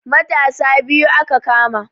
Matasa biyu aka kama